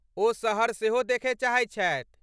ओ शहर सेहो देखय चाहैत छथि।